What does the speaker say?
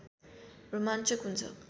रोमाञ्चक हुन्छ